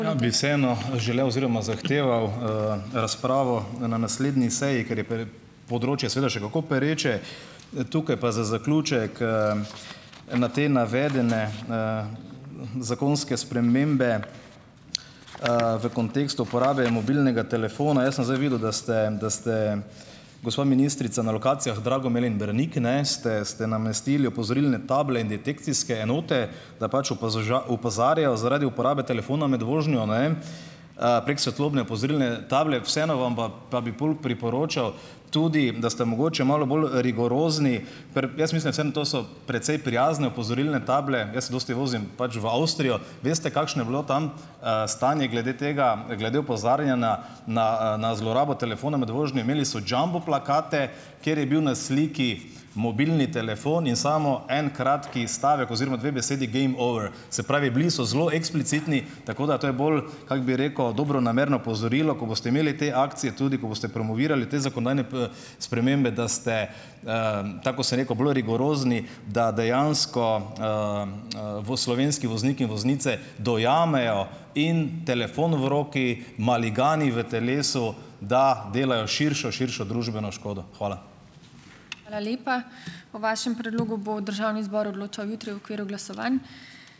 Rad bi vseeno želel oziroma zahteval, razpravo na, na naslednji seji, ker je področje seveda še kako pereče, tukaj pa za zaključek, na te navedene, zakonske spremembe, v kontekstu uporabe mobilnega telefona. Jaz sem zdaj videl , da ste, da ste, gospa ministrica, na lokacijah Dragomer in Brnik, ne, ste, ste namestili opozorilne table in detekcijske enote, da pač opozarjajo zaradi uporabe telefona med vožnjo, ne, prek svetlobne opozorilne table, vseeno vam pa bi pol priporočal tudi, da ste mogoče malo bolj rigorozni, ker jaz mislim, vsem to so precej prijazne opozorilne table, jaz se dosti vozim pač v Avstrijo. Veste, kakšno je bilo tam, stanje glede tega, glede opozarjanja na, na zlorabo telefona med vožnjo? Imeli so jumbo plakate, kjer je bil na sliki mobilni telefon in samo en kratek stavek oziroma dve besedi: Game over. Se pravi bili so zelo eksplicitni , tako da, to je bolj, kako bi rekel, dobronamerno opozorilo, ko boste imeli te akcije, tudi, ko boste promovirali te zakonodajne, spremembe, da ste, tako kot sem rekel, bolj rigorozni, da dejansko, bo slovenski voznik in voznice dojamejo in telefon v roki, maligani v telesu, da delajo širšo, širšo družbeno škodo. Hvala. Hvala lepa. O vašem predlogu bo državni zbor odločal jutri v okviru glasovanj.